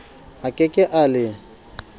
a ke ke a le